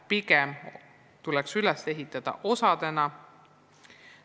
Seetõttu tuleks õpe pigem üles ehitada osadena.